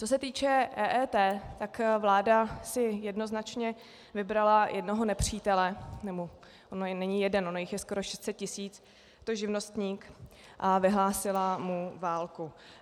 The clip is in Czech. Co se týče EET, tak vláda si jednoznačně vybrala jednoho nepřítele, nebo on není jeden, ono jich je skoro 600 tisíc, je to živnostník, a vyhlásila mu válku.